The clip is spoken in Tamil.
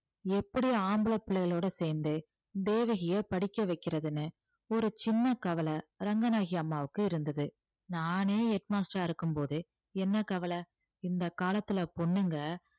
எப்படி ஆம்பளை பிள்ளைகளோட சேர்ந்து தேவகியை படிக்க வைக்கிறதுன்னு ஒரு சின்ன கவலை ரங்கநாயகி அம்மாவுக்கு இருந்தது நானே head master ஆ இருக்கும் போது என்ன கவலை இந்த காலத்துல பொண்ணுங்க